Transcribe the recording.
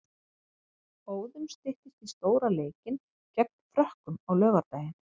Óðum styttist í stóra leikinn gegn Frökkum á laugardaginn.